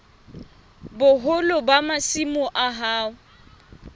boholo ba masimo a hao